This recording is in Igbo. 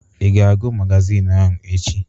Ị ga-agụ magazin ahụ echi?